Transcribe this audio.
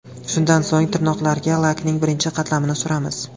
Shundan so‘ng tirnoqlarga lakning birinchi qatlamini suramiz.